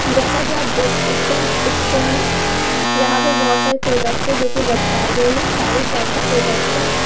जैसा कि आप देख सकते हैं इस पिक्चर में यहां पे बहुत सारे प्रोडक्ट्स है जो की लटकाए गए हैं सारे पैक्ड प्रोडक्ट हैं।